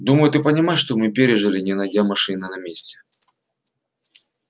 думаю ты понимаешь что мы пережили не найдя машины на месте